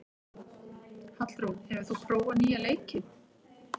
Hallrún, hefur þú prófað nýja leikinn?